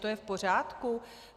To je v pořádku?